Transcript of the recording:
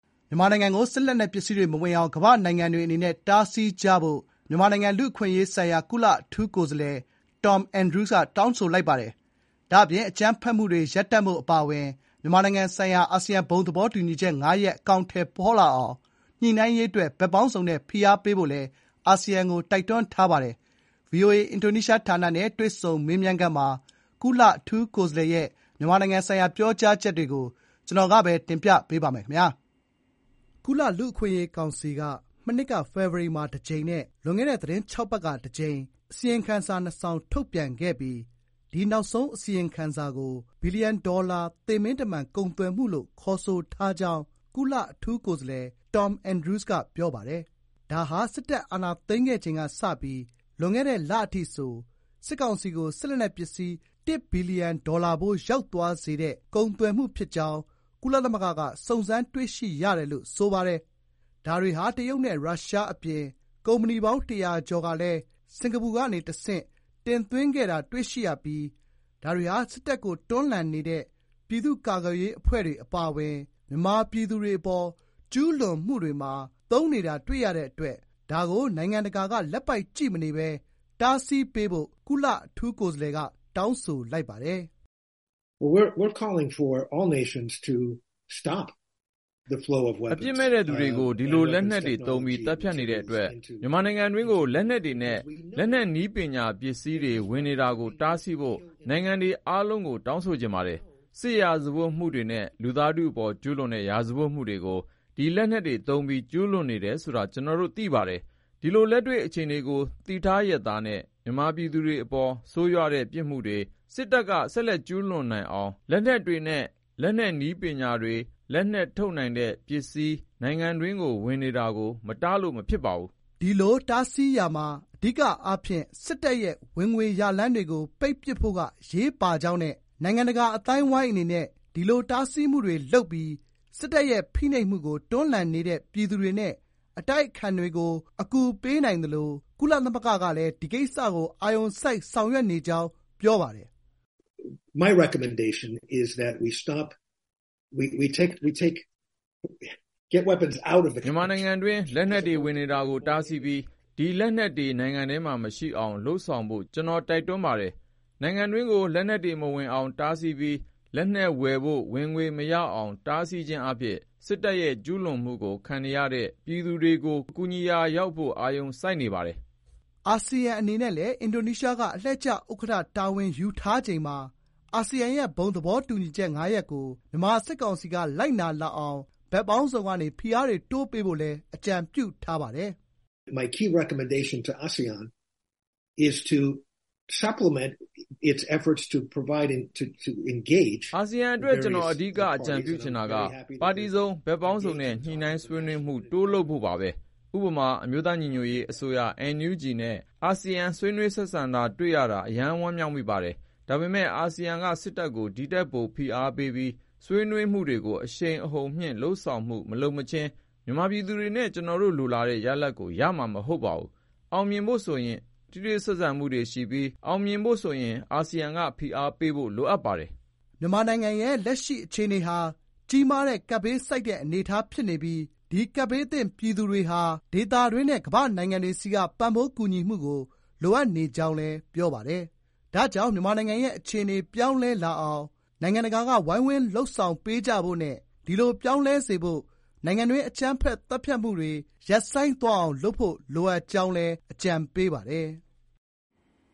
မြန်မာနိုင်ငံထဲကို စစ်လက်နက်ပစ္စည်းတွေ မဝင်အောင် ကမ္ဘာ့နိုင်ငံတွေအနေနဲ့ တားဆီးကြဖို့ မြန်မာနိုင်ငံလူ့အခွင့်ရေး ဆိုင်ရာ ကုလအထူးကိုယ်စားလှယ် Tom Andrews က တောင်းဆိုလိုက်ပါတယ်။ ဒါ့အပြင် အကြမ်းဖက်မှုတွေ ရပ်တံ့ဖို့ အပါအဝင် မြန်မာဆိုင်ရာ အာဆီယံဘုံသဘောတူညီချက် ၅ ရပ် အကောင်ထည်ဖေါ်လာအောင် ညှိနှိုင်းရေးအတွက် ဘက်ပေါင်းစုံနဲ့ ဖိအားပေးဖို့လည်း အာဆီယံကို တိုက်တွန်းလိုက်ပါတယ်။ VOA အင်ဒိုနီးရှားဌာနနဲ့ တွေ့ဆုံမေးမြန်းခန်းမှာ ကုလအထူးကိုယ်စားလှယ်ရဲ့ မြန်မာဆိုင်ရာ ပြောကြားချက်တွေကို တင်ပြပေးပါမယ်။ ကုလလူ့အခွင့်ရေးကောင်စီက မနှစ်က ဖေဖေါ်ဝါရီမှာ တကြိမ် နဲ့ လွန်ခဲ့တဲ့ သီတင်း ၆ ပတ်က တကြိမ် အစီရင်ခံစာ၂ စောင် ထုတ်ပြန်ခဲ့ပြီး ဒီနောက်ဆုံး အစီရင်ခံစာကို ဘီလီယံဒေါ်လာ သေမင်းတမန်ကုန်သွယ်မှု လို့ ခေါ်ဆိုထားကြောင်း ကုလအထူးကိုယ်စားလှယ် Tom Andrews ကပြောပါတယ်။ ဒါဟာ စစ်တပ်အာဏာသိမ်းခဲ့ချိန် ကစပြီး လွန်ခဲ့တဲ့ လအထိဆို စစ်ကောင်စီကို စစ်လက်နက်ပစ္စည်း ၁ ဘီလီယံ ဒေါ်လာဖိုးရောက်သွားစေတဲ့ ကုန်သွယ်မှု ဖြစ်ကြောင်း ကုလသမဂ္ဂက စုံစမ်းတွေ့ရှိရတယ်လို့ ပြောပါတယ်။ ဒါတွေဟာ တရုတ်နဲ့ ရုရှား အပြင် ကုမ္ပဏီပေါင်း တရာကျော်ကလည်း စင်္ကာပူကနေ တဆင့် တင်သွင်းခဲ့တာတွေ့ရပြီး ဒါတွေဟာ စစ်တပ်ကိုတွန်းလှန်နေတဲ့ ပြည်သူ့ကာကွယ်ရေးအဖွဲ့တွေအပါအဝင် မြန်မာပြည်သူတွေအပေါ် ကျူးလွန်မှုတွေမှာ သုံးနေတာတွေ့ရတဲ့ အတွက် ဒါကို နိုင်ငံတကာက လက်ပိုက်ကြည့်မနေပဲ တားဆီးပေးဖို့ ကုလအထူးကိုယ်စားလှယ်က တောင်းဆိုလိုက်ပါတယ်။ " အပြစ်မဲ့တဲ့သူတွေကို ဒီလက်နက်တွေသုံးပြီး သတ်ဖြတ်နေတဲ့အတွက် မြန်မာနိုင်ငံအတွင်းကို လက်နက်တွေနဲ့ လက်နက်နည်းပညာပစ္စည်းတွေ ဝင်နေတာကို တားဆီးဖို့ နိုင်ငံတွေအားလုံးကို တောင်းဆိုချင်ပါတယ်။ စစ်ရာဇဝတ်မှုတွေနဲ့ လူသားထုအပေါ် ကျူးလွန်တဲ့ရာဇဝတ်မှုတွေကို ဒီလက်နက်တွေသုံးပြီး ကျူးလွန်နေတယ်ဆိုတာ ကျနော်တို့ သိပါတယ်။ ဒီလို လက်တွေ့အခြေအနေကို သိထားလျက်သားတဲ့ မြန်မာပြည်သူတွေအပေါ် ဆိုးရွားတဲ့ ပြစ်မှုတွေ စစ်တပ်က ဆက်ကျူးလွန်နိုင်အောင် လက်နက်တွေနဲ့ လက်နက်နည်းပညာတွေ၊ လက်နက်ထုတ်လုပ်နိုင်တဲ့ ပစ္စည်းတွေ နိုင်ငံတွင်း ဝင်နေတာကို မတားလို့ မဖြစ်ပါဘူး။" ဒီလို တားဆီးရာမှာ အဓိကအားဖြင့် စစ်တပ်ရဲ့ ဝင်ငွေရလမ်းတွေကို ပိတ်ပစ်ဖို့က အရေးပါကြောင်းနဲ့ နိုင်ငံတကာ အသိုင်းဝိုင်း အနေနဲ့ ဒီလိုတားဆီးမှုတွေ လုပ်ပြီး စစ်တပ်ရဲ့ ဖိနှိပ်မှုကို တွန်းလှန်နေတဲ့ ပြည်သူတွေနဲ့ အတိုက်အခံတွေကို အကူပေးနိုင်သလို ကုလသမဂ္ဂကလည်း ဒီကိစ္စကို အာရုံစိုက်ဆောင်ရွက်နေကြောင်း ပြောပါတယ်။ " မြန်မာနိုင်ငံတွင်း လက်နက်တွေ ဝင်နေတာကို တားဆီးပြီး ဒီလက်နက်တွေ နိုင်ငံထဲမှာ မရှိအောင် လုပ်ဆောင်ဖို့ ကျနော်တိုက်တွန်းပါတယ်။ နိုင်ငံတွင်းကို လက်နက်တွေ မဝင်အောင် တားဆီးပြီး လက်နက်ဝယ်ဖို့ ဝင်ငွေ မရအောင် တားဆီးခြင်းအားဖြင့် စစ်တပ်ရဲ့ကျူးလွန်မှုတွေကို ခံနေရတဲ့ ပြည်သူတွေကို ကူညီရာ ရောက်ဖို့ အာရုံစိုက်နေပါတယ်။" အာဆီယံအနေနဲ့လည်း အင်ဒိုနီးရှားက အလှည့်ကျဥက္ကဌတာဝန်ယူထားချိန်မှာ အာဆီယံရဲ့ ဘုံသဘောတူညီချက် ၅ ရပ်ကို မြန်မာစစ်ကောင်စီက လိုက်နာလာအောင် ဘက်ပေါင်းစုံကနေ ဖိအားတွေ တိုးပေးဖို့လည်း အကြံပြုပါတယ်။ " အာဆီယံအတွက် ကျနော်အဓိက အကြံပြုချင်ကတာက ပါတီစုံ ဘက်ပေါင်းစုံနဲ့ ညှိနှှိုင်းဆွေးနွေးမှု တိုးလုပ်ဖို့ပါပဲ။ ဥပမာ အမျိုးသားညီညွတ်ရေးအစိုးရ NUG နဲ့ အာဆီယံ ဆွေးနွေးဆက်ဆံတာတွေ့ရတာ အရမ်း ဝမ်းမြောက်မိပါတယ်။ ဒါပေမယ့် အာဆီယံက စစ်တပ်ကို ဒီထက်ပို ဖိအားပေးပြီး ဆွေးနွေးမှုတွေကို အရှိန်အဟုန်မြှင့်လုပ်ဆောင်မှု မလုပ်မချင်း မြန်မာပြည်သူတွေနဲ့ ကျနော်တို့လိုလားတဲ့ ရလဒ်ကို ရမှာ မဟုတ်ပါဘူး။ ထိတွေ့ဆက်ဆံမှုတွေရှိပြီး အောင်မြင်ဖို့ဆိုရင် အာဆီယံက ဖိအားပေးဖို့ လိုအပ်ပါတယ်။" မြန်မာနိုင်ငံရဲ့ လက်ရှိအခြေနေဟာ ကြီးမားတဲ့ကပ်ဘေးဆိုက်တဲ့ အနေထား ဖြစ်နေပြီး ဒီကပ်ဘေးသင့် ပြည်သူတွေဟာ ဒေသတွင်းနဲ့ ကမ္ဘာ့နိုင်ငံတွေဆီက ပံ့ပိုးကူညီမှုကို လိုအပ်နေကြောင်းလည်း ပြောပါတယ်။ ဒါကြောင့် မြန်မာနိုင်ငံရဲ့ အခြေနေပြောင်းလဲလာအောင် နိုင်ငံတကာက ဝိုင်းဝန်းလုပ်ဆောင်ပေးကြဖို့နဲ့ ဒီလိုပြောင်းလဲစေဖို့ နိုင်ငံတွင်း အကြမ်းဖက် သတ်ဖြတ်မှုတွေ စရပ်ဆိုင်းသွားအောင်လုပ်ဖို့ လိုအပ်ကြောင်းလည်း အကြံပေးပါတယ်။